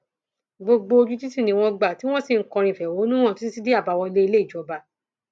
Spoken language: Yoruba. gbogbo ojú títì ni wọn gbà tí wọn sì ń kọrin ìfẹhónú hàn títí dé àbáwọlé ilé ìjọba